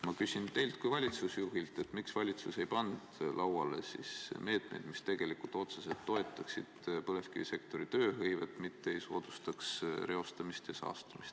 Ma küsin teilt kui valitsusjuhilt, miks valitsus ei pannud lauale meetmeid, mis otseselt toetaksid põlevkivisektori tööhõivet, mitte ei soodustaks reostamist ja saastamist.